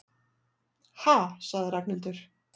Ha sagði Ragnhildur.